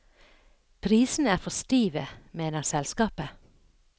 Prisene er for stive, mener selskapet.